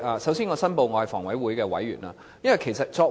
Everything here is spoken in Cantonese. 首先，我申報我是房委會委員。